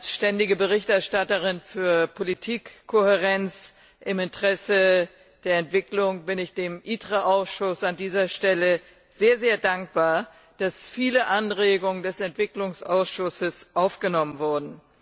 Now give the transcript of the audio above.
Als ständige Berichterstatterin für Politikkohärenz im Interesse der Entwicklung bin ich dem ITRE Ausschuss an dieser Stelle sehr, sehr dankbar, dass viele Anregungen des Entwicklungsausschusses aufgenommen wurden.